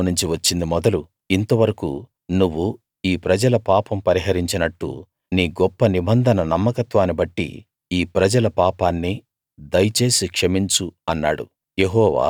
ఐగుప్తులోనుంచి వచ్చింది మొదలు ఇంతవరకూ నువ్వు ఈ ప్రజల పాపం పరిహరించినట్టు నీ గొప్ప నిబంధన నమ్మకత్వాన్నిబట్టి ఈ ప్రజల పాపాన్ని దయచేసి క్షమించు అన్నాడు